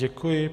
Děkuji.